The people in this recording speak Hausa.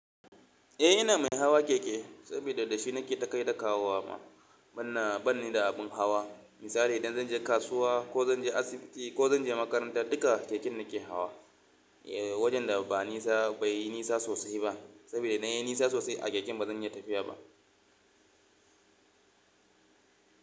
Eh ina mai hawa keke saboda da shi nake takai da kawowa ma. Ban ba ni da abin hawa. Misali idan zan je kasuwa ko zan je asibiti ko zan je makaranta duka keken nake hawa. Eh wajen da ba nisa bai yi nisa sosai ba sabida da in ya yi nisa sosai a keken ba zan iya tafiya ba.